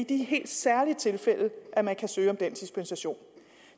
de helt særlige tilfælde at man kan søge om den dispensation